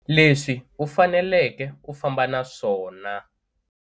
Leswi u faneleke u famba na swona.